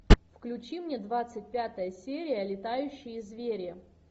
включи мне двадцать пятая серия летающие звери